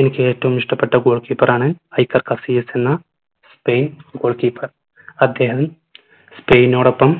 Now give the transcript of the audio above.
എനിക്ക് ഏറ്റവും ഇഷ്ടപ്പെട്ട goal keeper ആണ് ഹൈകർ കാഫിയസ് എന്ന സ്പെയിൻ goal keeper അദ്ദേഹം സ്പൈനോടൊപ്പം